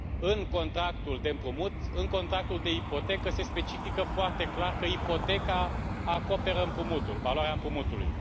În contractul de împrumut, în contractul de ipotecă se specifică foarte clar că ipoteca acoperă împrumutul, valoarea împrumutului.